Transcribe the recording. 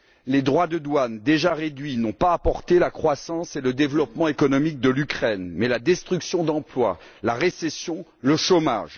Les droits de douane, déjà réduits, n'ont pas apporté la croissance et le développement économiques de l'Ukraine mais ont entraîné la destruction d'emplois, la récession et le chômage.